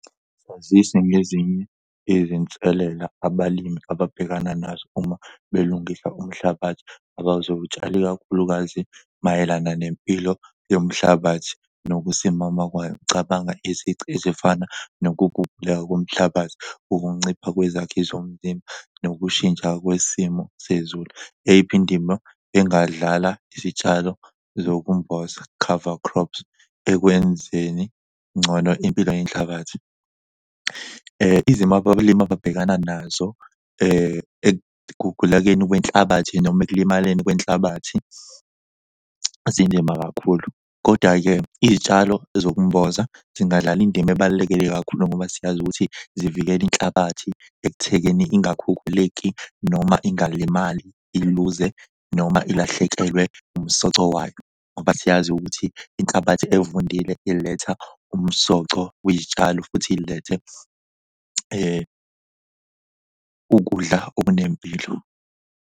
Sazise ngezinye izinselela abalimi ababhekana nazo uma belungisa umhlabathi abazowutshala ikakhulukazi mayelana nempilo yomhlabathi nokusimama kwayo. Cabanga izici ezifana nokuguguleka komhlabathi, ukuncipha kwezakhi zomzimba nokushintsha kwesimo sezulu. Eyiphi indima engadlala izitshalo zokumboza cover crops ekwenzeni ngcono impilo yenhlabathi? Izimo abalimi ababhekana nazo ekugugulekeni kwenhlabathi noma ekulimaleni kwenhlabathi zinzima kakhulu. Koda-ke izitshalo zokumboza zingadlala indima ebalulekile kakhulu ngoba siyazi ukuthi zivikela inhlabathi ekuthekeni ingakhukhuleki noma ingalimali iluze noma ilahlekelwe umsoco wayo, ngoba siyazi ukuthi inhlabathi evundile iletha umsoco wezitshalo futhi ilethe ukudla okunempilo.